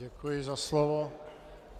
Děkuji za slovo.